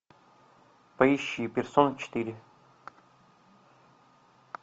поищи персона четыре